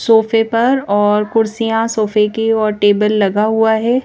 सोफे पर और कुर्सियां सोफे की ओर टेबल लगा हुआ है।